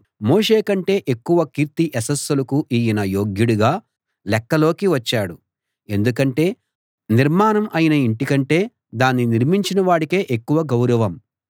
మోషే కంటే ఎక్కువ కీర్తి యశస్సులకు ఈయన యోగ్యుడిగా లెక్కలోకి వచ్చాడు ఎందుకంటే నిర్మాణం అయిన ఇంటి కంటే దాన్ని నిర్మించిన వాడికే ఎక్కువ గౌరవం